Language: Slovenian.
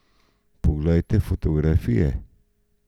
Poglejte fotografije!